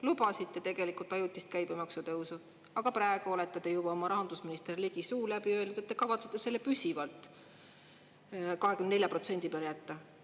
Lubasite tegelikult ajutist käibemaksu tõusu, aga praegu olete te juba oma rahandusministri Ligi suu läbi öelnud, et te kavatsete selle püsivalt 24% peale jätta.